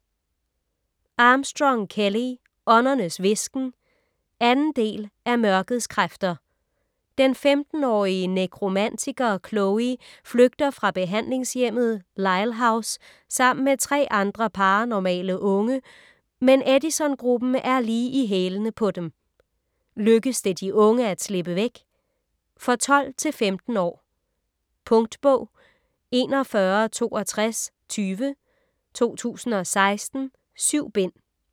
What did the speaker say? Armstrong, Kelley: Åndernes hvisken 2. del af Mørkets kræfter. Den 15-årige nekromantiker Chloe flygter fra behandlingshjemmet "Lyle house" sammen med 3 andre paranormale unge, men Edisongruppen er lige i hælene på dem. Lykkes det de unge at slippe væk? For 12-15 år. Punktbog 416220 2016. 7 bind.